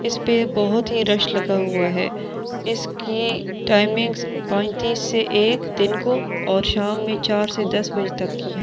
इसपे बहुत ही रश लगा हुआ है इसकी टाइमिन से एक दिन को और शाम में चार से दस बजे तक कि है।